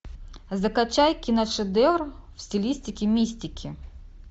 закачай киношедевр в стилистике мистики